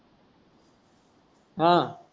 हां